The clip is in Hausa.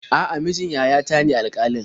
A'a, mijin yayata ne alƙalin.